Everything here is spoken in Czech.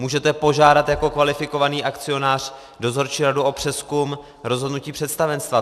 Můžete požádat jako kvalifikovaný akcionář dozorčí radu o přezkum rozhodnutí představenstva.